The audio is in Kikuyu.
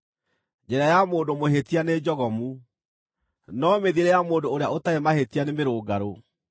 Njĩra ya mũndũ mũhĩtia nĩ njogomu, no mĩthiĩre ya mũndũ ũrĩa ũtarĩ mahĩtia nĩ mĩrũngarũ.